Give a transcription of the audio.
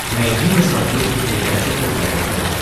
найди на смотрешке передачу кхл тв